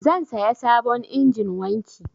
Zan saya sabon injin wanki.